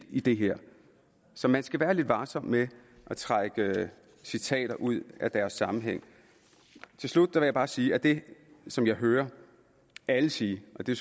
i det her så man skal være lidt varsom med at trække citater ud af deres sammenhæng til slut vil jeg bare sige at det som jeg hører alle sige og det